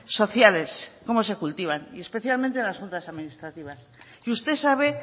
sociales cómo se cultivan y especialmente en las juntas administrativas y usted sabe